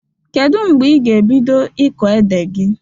Kedụ mgbe ị ga ebido ịkọ ede gị?